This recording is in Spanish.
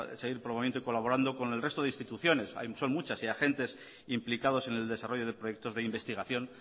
seguir colaborando con el resto de instituciones son muchas y agentes implicados en el desarrollo de proyectos de investigación